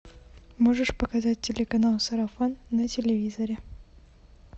можешь показать телеканал сарафан на телевизоре